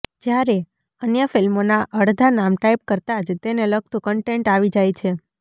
જ્યારે અન્ય ફિલ્મોના અડધા નામ ટાઇપ કરતાં જ તેને લગતું કન્ટેન્ટ આવી જાય છે